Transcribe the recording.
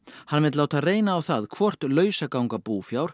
hann vill láta reyna á það hvort lausaganga búfjár